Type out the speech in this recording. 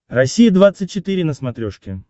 россия двадцать четыре на смотрешке